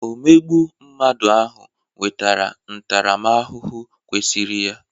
Omegbu mmadụ ahụ nwetara ntaramahụhụ kwesịrị ya.